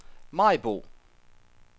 Maribo